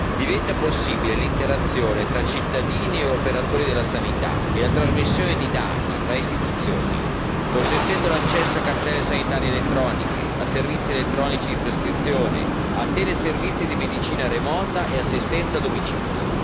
Diventa possibile l'interazione tra cittadini e operatori della sanità e la trasmissione di dati fra istituzioni, consentendo l'accesso a cartelle sanitarie elettroniche, a servizi elettronici di prescrizione, a teleservizi di medicina remota e assistenza a domicilio.